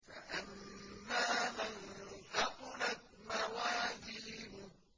فَأَمَّا مَن ثَقُلَتْ مَوَازِينُهُ